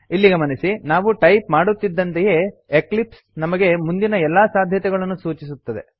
ಇಲ್ಲಿ ಗಮನಿಸಿ ನಾವು ಟೈಪ್ ಮಾಡುತ್ತಿದ್ದಂತೆಯೇ ಎಕ್ಲಿಪ್ಸ್ ನಮಗೆ ಮುಂದಿನ ಎಲ್ಲಾ ಸಾಧ್ಯತೆಗಳನ್ನು ಸೂಚಿಸುತ್ತದೆ